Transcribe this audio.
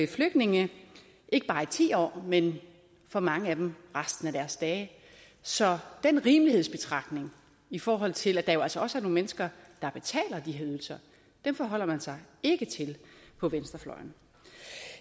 flygtninge ikke bare i ti år men for mange af dem resten af deres dage så den rimelighedsbetragtning i forhold til at der jo altså også er nogle mennesker der betaler de her ydelser forholder man sig ikke til på venstrefløjen